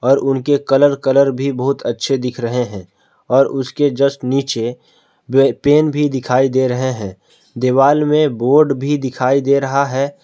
और उनके colour colour भी बहुत अच्छे दिख रहे हैं और उसके जस्ट नीचे वे पेन भी दिखाई दे रहे हैं दीवाल में बोर्ड भी दिखाई दे रहा है।